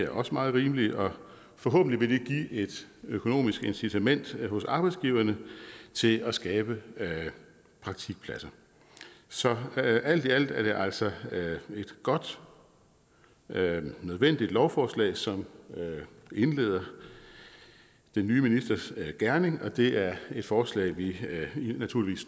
også meget rimelige og forhåbentlig vil det give et økonomisk incitament hos arbejdsgiverne til at skabe praktikpladser så alt i alt er det altså et godt nødvendigt lovforslag som indleder den nye ministers gerning og det er et forslag vi naturligvis